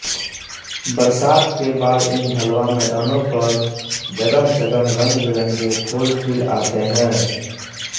बरसात के बाद इन ढ़लुआ मैदानों पर जगहजगह रंगबिरंगे फूल खिल आते हैं